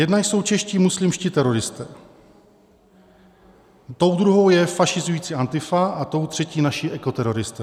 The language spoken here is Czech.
Jedna jsou čeští muslimští teroristé, tou druhou je fašizující Antifa a tou třetí naši ekoteroristé.